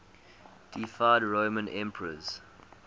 deified roman emperors